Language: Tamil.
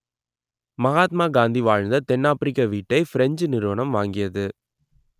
மகாத்மா காந்தி வாழ்ந்த தென்னாப்பிரிக்க வீட்டை ஃபிரெஞ்சு நிறுவனம் வாங்கியது